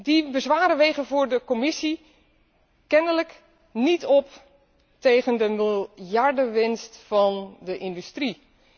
Die bezwaren wegen voor de Europese Commissie kennelijk niet op tegen de miljardenwinst van de industrie.